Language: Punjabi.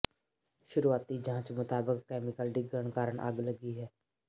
ਸ਼ੁਰੂਆਤੀ ਜਾਂਚ ਮੁਤਾਬਕ ਕੈਮੀਕਲ ਡਿੱਗਣ ਕਾਰਨ ਅੱਗ ਲੱਗੀ ਹੈ